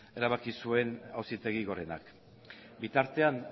erabaki zuen auzitegi gorenak bitartean